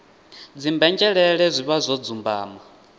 dzimbenzhelele zwi vha zwo dzumbama